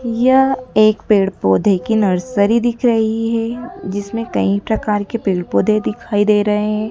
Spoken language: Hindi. यह एक पेड़ पौधे की नर्सरी दिख रही है जीसमें कई प्रकार के पेड़ पौधे दिखाई दे रहे है।